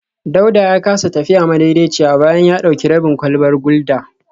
Dauda ya kasa tafiya madaidaiciya bayan ya dauki rabin kwalbar gulda